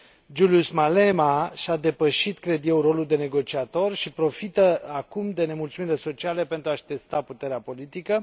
Julius Malema și a depășit, cred eu, rolul de negociator și profită acum de nemulțumirile sociale pentru a și testa puterea politică.